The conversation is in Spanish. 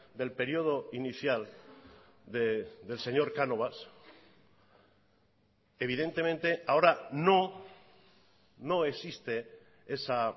del período inicial del señor canovas evidentemente ahora no no existe esa